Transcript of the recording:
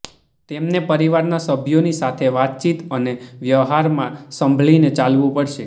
તમને પરિવારના સભ્યોની સાથે વાતચીત અને વ્યવહારમાં સંભળીને ચાલવું પડશે